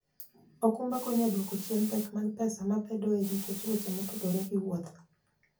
okumba konyo e duoko chien pek mag pesa mabedoe nikech weche motudore gi wuoth.